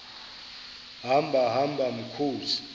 hamba hamba mkhozi